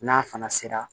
N'a fana sera